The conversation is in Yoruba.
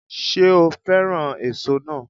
Ṣé o féràn èso náà